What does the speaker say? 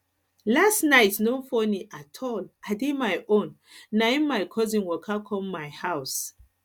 last night no funny at all i dey my own na im my cousin waka come my house